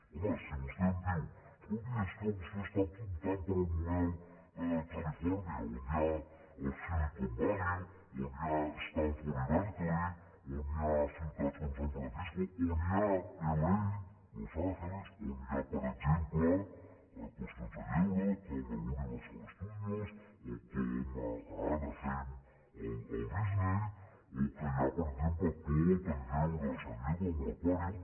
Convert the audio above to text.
home si vostè em diu escolti és que vostè opta pel model califòrnia on hi ha el silicon valley on hi ha stanford i berkeley on hi ha ciutats com san francisco on hi ha la los angeles on hi ha per exemple qüestions de lleure com l’universal studios o com a anaheim el disney o que hi ha per exemple tot el lleure a san diego amb l’aquàrium